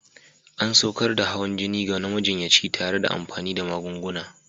An saukar da hawan jini na majiyyaci tare da amfani da magunguna.